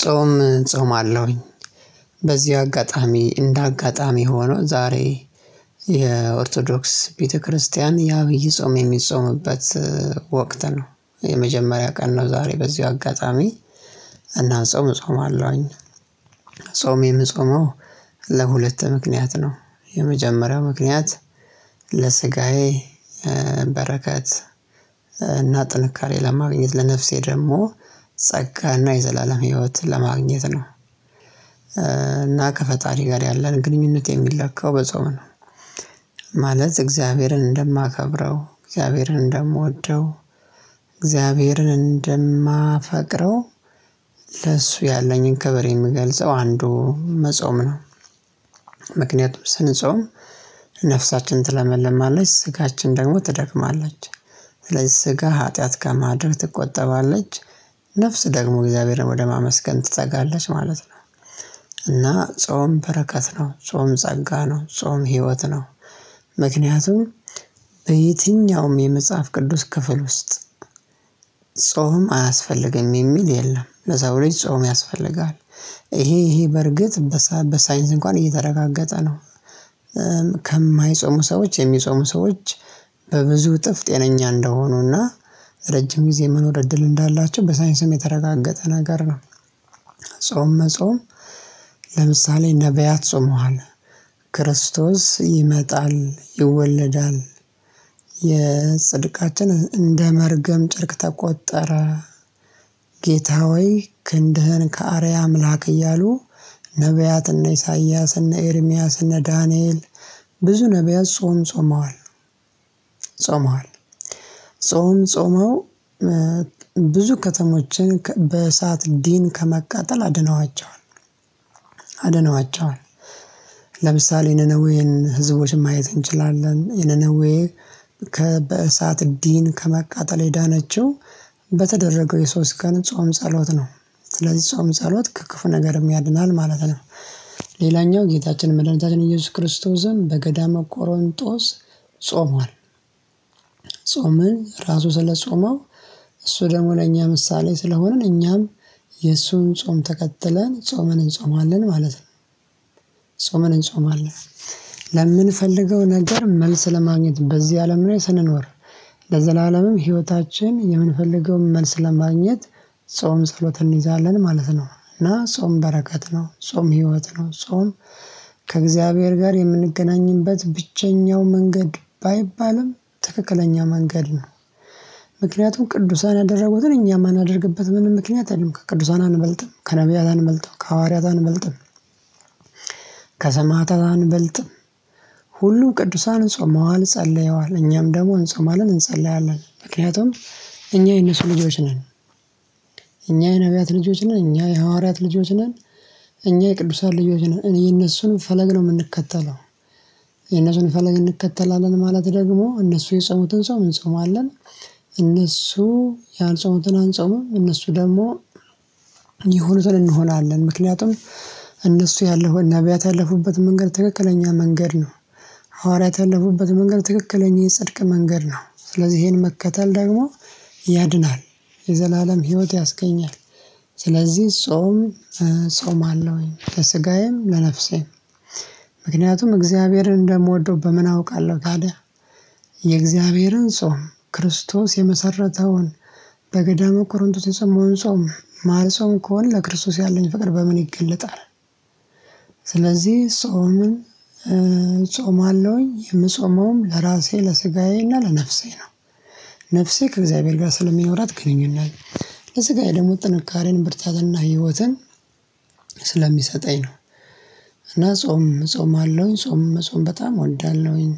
ጾም እጾማለሁኝ። በዚህ አጋጣሚ እንደ አጋጣሚ ሆኖ ዛሬ የኦርቶዶክስ ቤተክርስቲያን የአብይ ጾም የሚጾምበት ወቅት ነው የመጀመሪያ ቀን ነው። ዛሬ በዚሁ አጋጣሚ እና ጾም እጾም አለውኝ። ጾሜ የምጾመው ለሁለት ምክንያት ነው። የመጀመሪያው ምክንያት ለስጋዬ በረከት እና ጥንካሬ ለማግኘት ለነፍሴ ደግሞ ጸጋና የዘላለም ህይወትን ለማግኘት ነው። እና ከፈጣሪ ጋር ያለን ግንኙነት የሚለካው በጾም ነው። ማለት እግዚአብሔርን እንደማከብረው እግዚአብሔርን እንደምወደው እግዚአብሔርን እንደማፈቅረው ለእሱ ያለኝን ከበሬ የምገልጸው አንዱ መጾም ነው። ምክንያቱም ስንጾም ነፍሳችን ትለመለማለች ስጋችን ደግሞ ትደክማለች ስለዚህ ስጋ ኃጢአት ከማድረግ ትቆጠባለች ነፍስ ደግሞ እግዚአብሔርን ወደ ማመስገን ትጸጋለች ማለት ነው። እና ጾም በረከት ነው ጾም ጸጋ ነው ጾም ህይወት ነው። ምክንያቱም በየትኛውም የመጽሐፍ ቅዱስ ክፍል ውስጥ ጾም አያስፈልግም የሚል የለም ለሰው ልጅ ጾም ያስፈልጋል። እሄ እሄ በርግጥ በሳይንስ እንኳን እየተረጋገጠ ነው። ከማይጾሙ ሰዎች የሚጾሙ ሰዎች በብዙ ጥፍ ጤነኛ እንደሆኑና ረጅም ጊዜ መኖር እድል እንዳላቸው በሳይንስም የተረጋገጠ ነገር ነው። ጾም መጾም ለምሳሌ ነብያት ጾመዋል። ክርስቶስ ይመጣል ይወለዳል የጽድቃችን እንደመርገም ጭርቅ ተቆጠረ። ጌታ ሆይ ክንድህን ከአርያ አምላክ እያሉ ነብያትና ኢሳይያስ እነ ኤርሚያስ እነ ዳንኤል ብዙ ነብያት ጾም ጾመዋል። ጾመዋል ጾም ጾመው ብዙ ከተሞችን በእሳት ዲን ከመቃጠል አድነዋቸዋል አድነዋቸዋል። ለምሳሌ ነነዌን ህዝቦችን ማየት እንችላለን የነነዌ ከ በእሳት ዲን ከመቃጠል የዳነችው በተደረገው የሶስት ቀን ጾም ጸሎት ነው። ስለዚህ ጾም ጸሎት ከ ክፉ ነገር ያድናል ማለት ነው። ሌላኛው ጌታችን መድኃኒታችን ኢየሱስ ክርስቶስን በገዳመ ቆሮንጦስ ጾሟል። ጾምን ራሱ ስለጾመው እሱ ደግሞ ለእኛ ምሳሌ ስለሆንን እኛም የእሱን ጾም ተከትለን ጾመን እንጾማለን ማለት ነው። ጾመን እንጾማለን። ለምንፈልገው ነገር መልስ ለማግኘት በዚህ አለም ላይ ስንኖር ለዘላለምም ህይወታችን የምንፈልገውን መልስ ለማግኘት ጾም ጸሎትን እንይዛለን ማለት ነው። እና ጾም በረከት ነው ጾም ህይወት ነው ጾም ከእግዚአብሔር ጋር የምንገናኝበት ብቸኛው መንገድ ባይባልም ትክክለኛ መንገድ ነው። ምክንያቱም ቅዱሳን ያደረጉትን እኛ ማናደርግበት ምንም ምክንያት የለም ከቅዱሳን አንበልጥም ከነብያት አንበልጥም ከሐዋርያት አንበልጥም። ከሰማዕታት አንበልጥም። ሁሉ ቅዱሳንን ጾማዋን ጸለየዋል እኛም ደግሞ እንጾማለል እንጸልያለን ምክንያቱም እኛ የነሱ ልጆች ነን። እኛ የነብያት ልጆች ነን እኛ የሐዋርያት ልጆች ነን። እኛ የቅዱሳን ልጆች ነን እኔ የነሱን ፈለግ ነው ምንከተለው። የነሱን ፈለግ እንከተላለን ማለት ደግሞ እነሱ የጸሙትን ጾም እንጸማለን። እነሱ ያልጾሙትን አንጾምም። እነሱ ደግሞ የሆኑትን እንሆናለን ምክንያቱም እነሱ ያለው ነብያት ያለፉበት መንገድ ትክክለኛ መንገድ ነው። ሐዋርያት ያለፉበት መንገድ ትክክለኛ የጽድቅ መንገድ ነው። ስለዚህ እሄን መከተል ደግሞ ያድናል የዘላለም ህይወት ያስገኛል። ስለዚህ ጾም ጾማለሁኝ ለስጋዬም ለነፍሴም ምክንያቱም እግዚአብሔርን እንደምወደው በምን አውቃለሁ ታዲያ የእግዚአብሔርን ጾም ክርስቶስ የመሰረተውን በገዳመ ቆሮንጦስ የጾሞውን ጾም ማልጾም ከሆነ ለክርስቶስ ያለኝ ፍቅር በምን ይገለጣል? ስለዚህ ጾምን ጾማለሁኝ የምጾመውም ለራሴ ለስጋዬ እና ለነፍሴ ነው። ነፍሴ ከእግዚአብሔር ጋር ስለሚኖራት ግንኙነት ለስጋዬ ደግሞ ጥንካሬን ብርታትና ህይወትን ስለሚሰጠኝ ነው። እና ጾም እጾምአለሁኝ ጾም መጾም በጣም እወዳለሁኝ።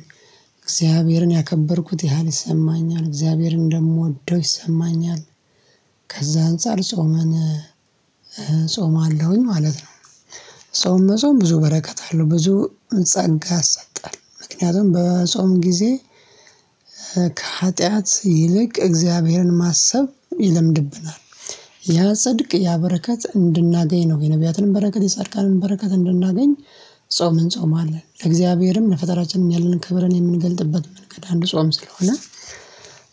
እግዚአብሔርን ያከበርኩት ያህል ይሰማኛል እግዚአብሔርን እንደምወደው ይሰማኛል። ከዛ አንፃር ጾመን እጾማለሁኝ ማለት ነው። ጾም መጾም ብዙ በረከት አለው ብዙ ጸጋ ያሰጣል ምክንያቱም በጾም ጊዜ ከሀጥያት ይልቅ እግዚአብሔርን ማሰብ ይለምድብናል። ያ ጽድቅ ያ በረከት እንድናገኝ ነው የነብያትንም በረከት የጻድቃንም በረከት እንድናገኝ ጾምን እንጾም አለን ለእግዚአብሔርም ለፈጠራችንም ያለንን ክብረን የምንገልጥበት መንገድ አንዱ ጾም ስለሆነ።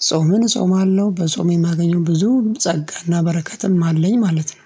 ጾምን እጾማለሁ በጾም የማገኘው ብዙ ጸጋና በረከትም አለኝ ማለት ነው